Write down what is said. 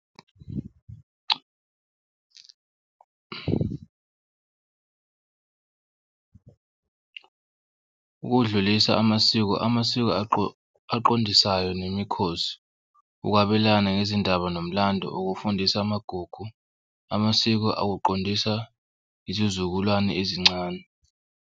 Ukuwudlulisa amasiko amasiko aqondisayo nemikhosi, ukwabelana ngezindaba nomlando ukufundisa amagugu amasiko akuqondisa izizukulwane ezincane.